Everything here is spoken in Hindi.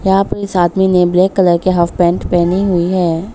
यहां पे इस आदमी ने ब्लैक कलर की हॉफ पैंट पहनी हुई है।